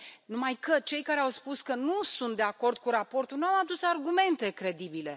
Numai că cei care au spus că nu sunt de acord cu raportul nu au adus argumente credibile.